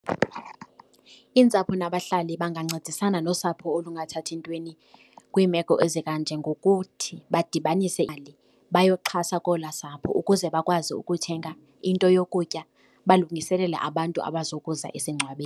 Iintsapho nabahlali bangancedisana nosapho olungathathi ntweni kwiimeko ezikanje, ngokuthi badibanise bayokuxhasa kolwasapho ukuze bakwazi ukuthenga into yokutya, balungiselele abantu abazokuza esingcwabeni.